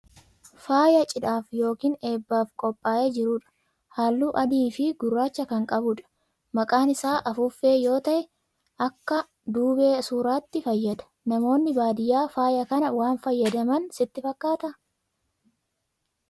Faaya cidhaaf yookiin eebbaaf qophaa'ee jiru dha. Halluu adii fi gurraacha kan qabu dha. Maqaan isaa afuuffee yoo ta'e, akka duubee suuraatti fayyada. Namoonni baadiyaa faaya kana waan fayyadaman sitti fakkaataa?